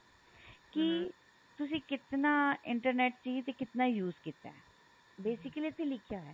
ਕੀ ਤੁਸੀਂ ਕਿਤਨਾ internet ਚਾਹੀਏ ਤੇ ਕਿਤਨਾ use ਕੀਤਾ basically ਇੱਥੇ ਲਿਖਿਆ ਹੋਇਆ